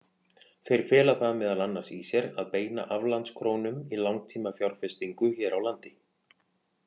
Þeir fela það meðal annars í sér að beina aflandskrónum í langtímafjárfestingu hér á landi.